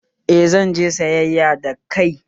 Eh, zan je sayyaya da kai